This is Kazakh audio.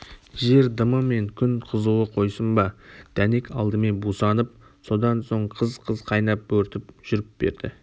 жер дымы мен күн қызуы қойсын ба дәнек алдымен бусанып содан соң қыз-қыз қайнап бөртіп жүріп берді